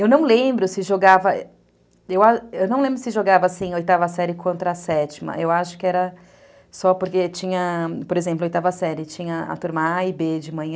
Eu não lembro se jogava, eu não lembro se jogava, assim, oitava série contra a sétima, eu acho que era só porque tinha, por exemplo, oitava série, tinha a turma a e bê de manhã,